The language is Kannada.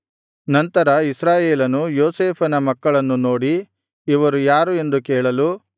ನಂತರ ಇಸ್ರಾಯೇಲನು ಯೋಸೇಫನ ಮಕ್ಕಳನ್ನು ನೋಡಿ ಇವರು ಯಾರು ಎಂದು ಕೇಳಲು